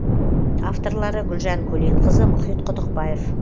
авторлары гүлжан көленқызы мұхит құдықбаев